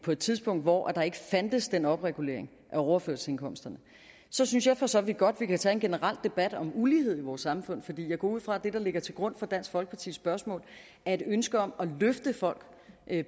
på et tidspunkt hvor der ikke fandtes den opregulering af overførselsindkomsterne så synes jeg for så vidt godt at vi kan tage en generel debat om ulighed i vores samfund fordi jeg går ud fra at det der ligger til grund for dansk folkepartis spørgsmål er et ønske om at løfte folk